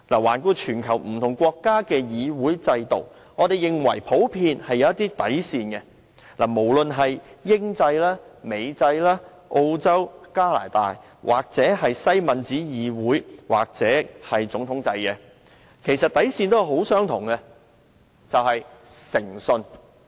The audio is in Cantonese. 環顧全球不同國家的議會制度，我們認為普遍是有一些底線，無論是英制、美制、澳洲或加拿大，無論是西敏寺議會制度或總統制，其實底線都相同，就是誠信。